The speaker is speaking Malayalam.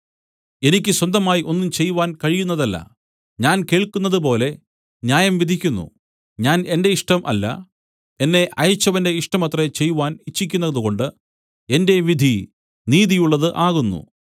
എനിക്ക് സ്വന്തമായി ഒന്നും ചെയ്‌വാൻ കഴിയുന്നതല്ല ഞാൻ കേൾക്കുന്നതുപോലെ ന്യായം വിധിക്കുന്നു ഞാൻ എന്റെ ഇഷ്ടം അല്ല എന്നെ അയച്ചവന്റെ ഇഷ്ടമത്രേ ചെയ്‌വാൻ ഇച്ഛിക്കുന്നതുകൊണ്ട് എന്റെ വിധി നീതിയുള്ളത് ആകുന്നു